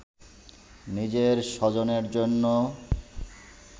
নিজের স্বজনের জন্য